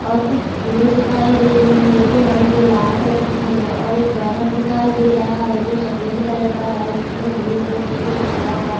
और कुछ फुले दिखाई दे रही है जो हलके लाल कलर की है और बैनर दिखाई दे रहा है जो सफ़ेद कलर का है जिसमें ब्लू कलर से कुछ लिखा हुआ --